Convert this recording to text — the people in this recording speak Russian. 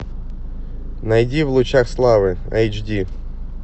найди в лучах славы айч ди